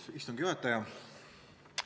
Hea istungi juhataja!